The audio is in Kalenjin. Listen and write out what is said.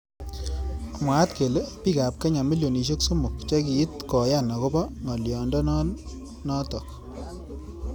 Mwaat kele bik ab kenya milionishek somok chekiit koyan akobo ngalyondon notok.